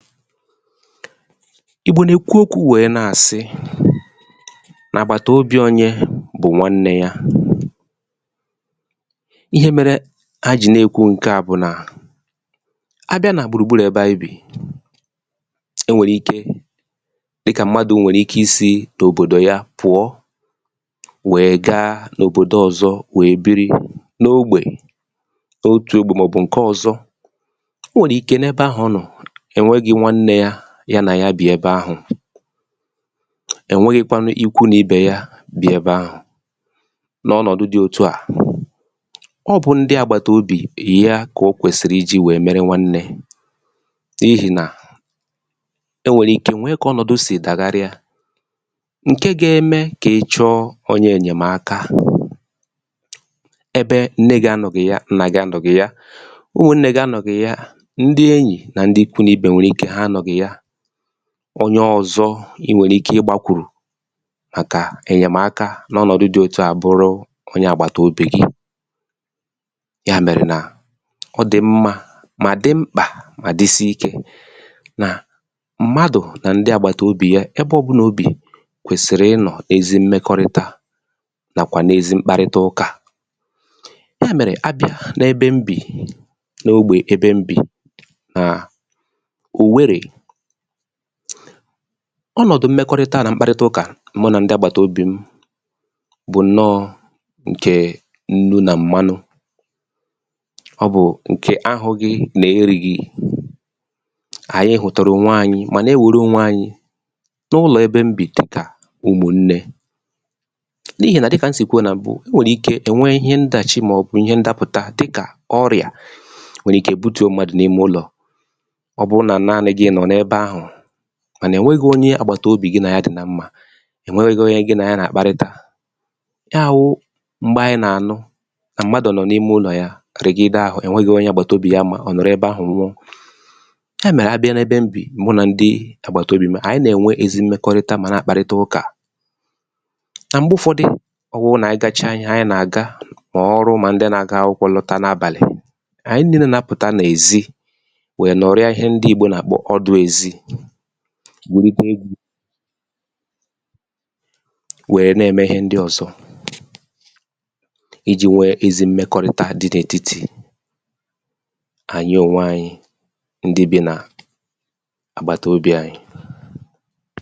file 110 ìgbò nà èkwu okwū wẹ̀ẹ nà àsị nà àgabàtàobī onye bụ̀ nwannē ya ihe mere ha jì nà èkwụ ǹkẹ à bụ̀ nà a bịa nà gbùrù gburù ẹbẹ anyị bì e nwèrè ike dịkà mmadū nwèrè ike isī n’òbòdò ya pụ̀ọ wẹ̀ẹ ga n’òbodo ọzọ wèe biri n’ogbè otū ogbè mà ọ̀ bụ̀ ǹkẹ ọ̀zọ ẹ̀ nwẹghịkwanụ ikwụ n’ibè ya bi ẹbẹ ahụ̀ n’ọnọ̀dụ dị otu a ọ bụ̀ ndị àgbàtàobì ya kà ò kwèsị̀rị ijī wẹ̀ẹ mẹrẹ nwannẹ̄ n’ihì nà ẹ nwẹ̀rẹ̀ ike nwẹ kà ọnọ̀dụ sì dàgharịa ǹkẹ ga ẹmẹ kà ịchọ onye ẹ̀nyẹ̀maka ẹbẹ nne gị anọghị ya nna gị anọghị ya ụmụ̀nnẹ gị anọghị ya ndị enyì nà ndị ikwu n’ibe nwẹ̀rẹ̀ ike anọghị ya onye ọ̀zọ ị nwẹ̀rẹ̀ ike ị gbakwùrù màkà ẹ̀nyẹ̀maka n’ọnọ̀dụ dị otu à bụrụ onye àgbàtàobì gị yà mẹ̀rẹ̀ nà ọ dị̀ mmā mà dị mkpà mà disi ikē nà mmadụ̀ nà ndị àgbàtàobì ya ẹbẹ ọbụlà o bì kwèsìri ịnọ̀ ezi mmẹkọrịta nàkwà n’ezi mkparịta ụkà yà mẹ̀rẹ̀ a bịa n’ẹbẹ m bì n’ogbè ẹbẹ m bì nà Òwerè ọnọ̀dụ mmẹkọrịta nà mkparịta ụkà mụ nà ndị àgbàtàobi m bụ̀ nnọọ̄ ǹkè nnu nà mmanụ ọ bụ̀ ǹkè ahụ̄ghị nà erīghi anyị hụ̀tụ̀rụ̀ onwe anyị mà na ewère ònwe anyị n’ụlọ̀ ebe m bì dịkà ụmụ̀nnẹ̄ n’ihì nà dịkà m sì kwuo nà m̀bụ o nwèrè ike ẹ nwẹ ihẹ ndàchi mà ọ̀ bụ̀ ihẹ̇ ndapụ̀ta dịkà ọrịà nwẹ̀rẹ̀ ike butùo mmadù n’ụlọ̀ ọ bụ nà naanị gị nọ̀ n’ebē ahụ̀ mà nà ènwẹghị onye àgbàtàobì gị nà ya dị̀ na mmā ya wụ m̀gbẹ anyị nà ànụ nà mmadù nọ n’ime ụlọ̀ ya rìàgide ahụ ẹ nwẹghị onye àgbàtàobì ya ma ọ̀ nọ̀rọ ẹbẹ ahụ̀ nwụọ yà mẹ̀rẹ̀ nà abịa n’ẹbẹ m bì mụ nà ndị àgbàtàobì m anyị nà ẹ̀nwẹ ezigbo mmẹkọrịta mà nà àkparịta ụkà nà mgbe ụfọdị ọ wụ nà anyị gacha ihẹ anyị nà àga mà ọrụ mà ndị na aga akwụkwọ̄ lọta n’abàlị̀ anyị nille nà apụ̀ta n’èzi wẹ nọrịa ihẹ ndị ìgbo nà àkpọ ọdụ̄ èzi wère gba egwū wẹ nà ẹ̀mẹ ihẹ ndị ọ̀zọ ijī nwẹ ezi mmẹkọrịta dị̄ n’ètitì ànyị ònwe anyị ndị bī nà àgbàtàobì anyị